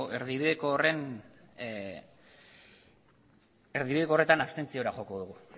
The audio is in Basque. horretan abstentziora joko dugu